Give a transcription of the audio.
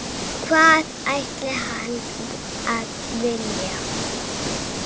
Hvað ætti hann að vilja?